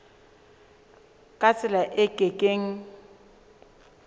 ka tsela e ke keng